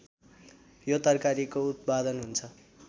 यो तरकारीको उत्पादन हुन्छ